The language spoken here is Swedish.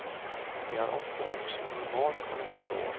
De har ofta också normalt kolesterol.